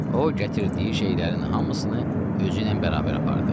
O gətirdiyi şeylərin hamısını özü ilə bərabər apardı.